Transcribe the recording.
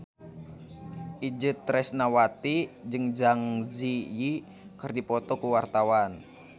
Itje Tresnawati jeung Zang Zi Yi keur dipoto ku wartawan